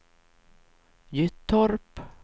Gyttorp